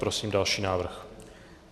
Prosím další návrh.